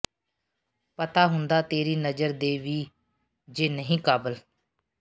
ਪਤਾ ਹੁੰਦਾ ਤੇਰੀ ਨਜ਼ਰ ਦੇ ਵੀ ਜੇ ਨਹੀਂ ਕਾਬਲ